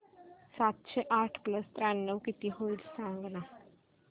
सातशे आठ प्लस त्र्याण्णव किती होईल सांगना